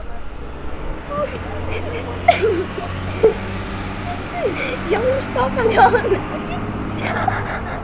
Hún hafi notað